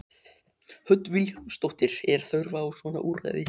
Hödd Vilhjálmsdóttir: Er þörf á svona úrræði?